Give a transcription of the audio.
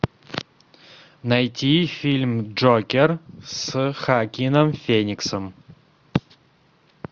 найти фильм джокер с хоакином фениксом